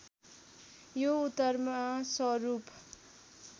यो उत्तरमा सरूप